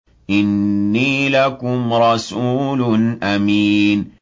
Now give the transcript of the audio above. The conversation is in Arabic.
إِنِّي لَكُمْ رَسُولٌ أَمِينٌ